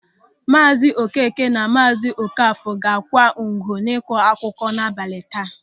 Maazi Okeke na Maazi Okafọ ga-akwa ngu n'ịkọakụkọ n'abalị taa.